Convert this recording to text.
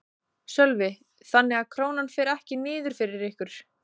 Sölvi: Þannig að Krónan fer ekki niður fyrir ykkur?